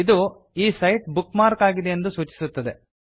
ಅದು ಈ site bookmark ಆಗಿದೆ ಎಂಬುದನ್ನು ಸೂಚಿಸುತ್ತದೆ